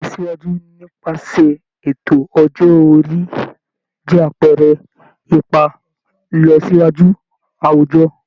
Ìlọsíwájú nípasẹ̀ ètò ọjọ́ orí jẹ́ àpẹẹrẹ ipa ìlọsíwájú àwùjọ